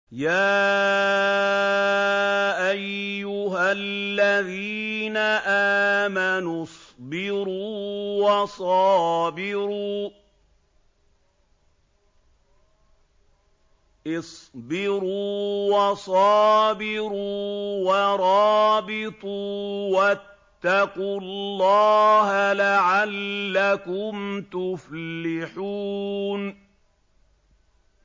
يَا أَيُّهَا الَّذِينَ آمَنُوا اصْبِرُوا وَصَابِرُوا وَرَابِطُوا وَاتَّقُوا اللَّهَ لَعَلَّكُمْ تُفْلِحُونَ